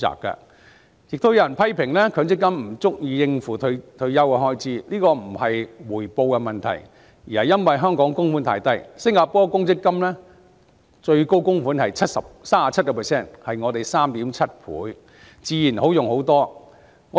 另外，有人批評強積金不足以應付退休的開支，但這並不是回報的問題，而是因為香港的供款比例太低，新加坡公積金最高供款高達 37%， 是香港的 3.7 倍，自然比較足夠應付開支。